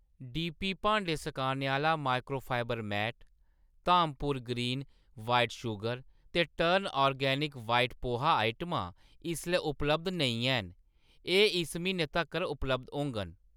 D P भांडें सकाने आह्‌ला microfibre mat, Dhampur green white sugar ते टर्न ऑर्गेनिक वाइट पोहा आइटमां इसलै उपलब्ध नेईं हैन, एह्‌‌ इस म्हीनै तक्कर उपलब्ध होङन